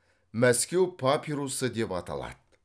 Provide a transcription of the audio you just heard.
мәскеу папирусы деп аталады